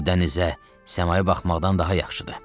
Bu dənizə, səmaya baxmaqdan daha yaxşıdır.